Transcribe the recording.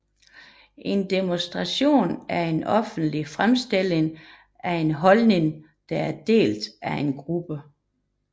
En demonstration er en offentlig fremstilling af en holdning der er delt af en gruppe